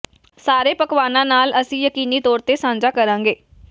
ਸਾਰੇ ਪਕਵਾਨਾਂ ਨਾਲ ਅਸੀਂ ਯਕੀਨੀ ਤੌਰ ਤੇ ਸਾਂਝਾ ਕਰਾਂਗੇ